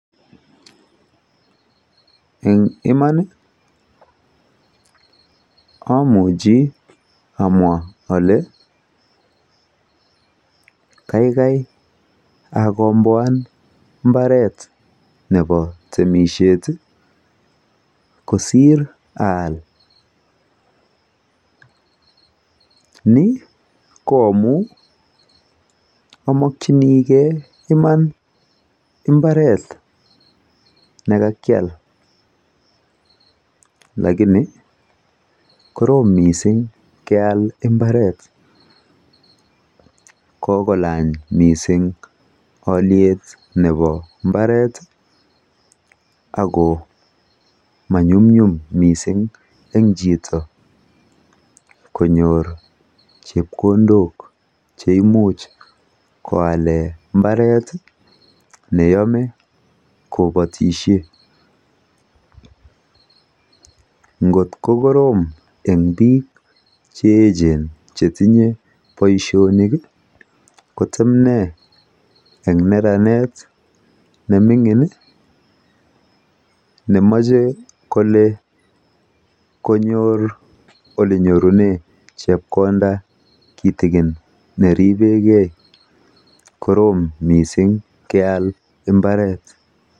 Eng iman amuchi amwa ale kaikai akombwan mbaret nepo temishet kosir aal. Ni ko amu amokchinigei iman imbaret nekakyal lakini korom mising keal imbaret, kokolany mising alyet nepo imbaret ako manyumnyum mising eng chito konyor chepkondok cheimuch koale mbaret neimuch kobatishe. Nkot kokorom eng biik cheechen chetinye boishonik kotemne eng neranet nemining nemochekole konyor olenyorune chepkonda kitikin neripekei, korom mising keal mbaret.